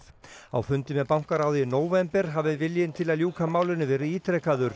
á fundi með bankaráði í nóvember hafi viljinn til að ljúka málinu verið